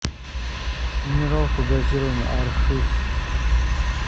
минералку газированную архыз